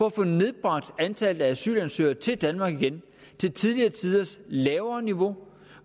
at få nedbragt antallet af asylansøgere til danmark til tidligere tiders lavere niveau